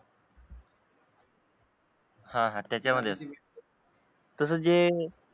हा हा त्याच्यामध्येच तसंच जे